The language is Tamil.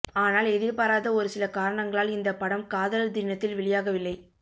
ஆனால் எதிர்பாராத ஒருசில காரணங்களால் இந்த படம் காதலர் தினத்தில் வெளியாகவில்லை